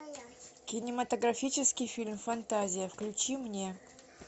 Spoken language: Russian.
кинематографический фильм фантазия включи мне